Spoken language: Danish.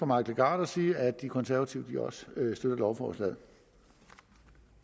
mike legarth og sige at de konservative også støtter lovforslaget